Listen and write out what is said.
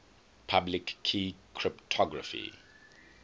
public key cryptography